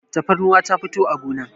tafarnuwa ta fito a gona